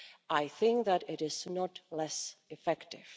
I think that it is not less effective.